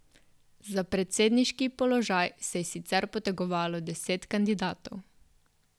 Za predsedniški položaj se je sicer potegovalo deset kandidatov.